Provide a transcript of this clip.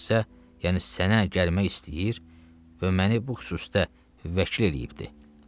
Bu şəxsə, yəni sənə gəlmək istəyir və məni bu xüsusda vəkil eləyibdir.